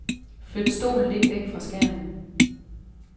Flyt stolen lidt væk fra skærmen.